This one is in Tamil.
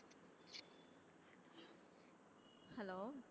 hello